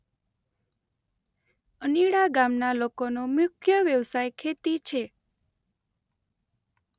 અનીડા ગામના લોકોનો મુખ્ય વ્યવસાય ખેતી છે.